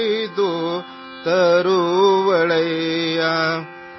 ನಿದ್ರಾ ದೇವೀ ಆ ಜಾಯೇಗೀ ಸಿತಾರೋಂ ಕೆ ಬಾಗ್ ಸೇ